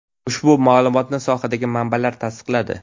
Ushbu ma’lumotni sohadagi manbalar tasdiqladi.